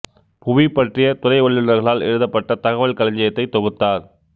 புவி பற்றிய துறை வல்லுனர்களால் எழுதப்பட்ட தகவல் களஞ்சியத்தை தொகுத்தார்